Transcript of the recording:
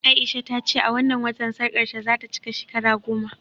A'isha ta ce a wannan watan sarƙarta za ta cika shekara goma